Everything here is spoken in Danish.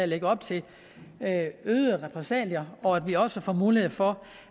lægger op til øgede repressalier og at vi også får mulighed for